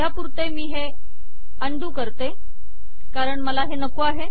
सध्यापुरते मी हे अंडू करते कारण मला हे नको आहे